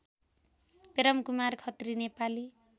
Premkumar Khatri Nepali